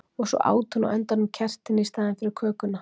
Og svo át hún á endanum kertin í staðinn fyrir kökuna.